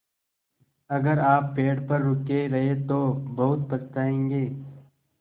अगर आप पेड़ पर रुके रहे तो बहुत पछताएँगे